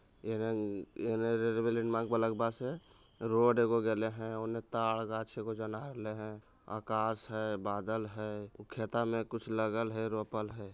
यहाँ railway line mark वाले पास है| रोड इको गले है| उने ताड गाचे आकाश है बादल है खेता में कुछ लगल है रोपल है।